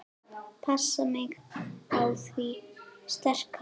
Passa mig á því sterka.